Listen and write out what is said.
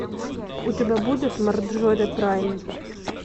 у тебя будет марджори прайм